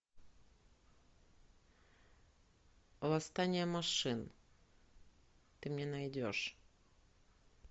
восстание машин ты мне найдешь